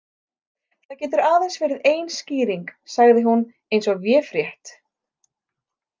Það getur aðeins verið ein skýring, sagði hún eins og véfrétt.